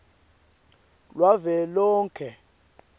lwavelonkhe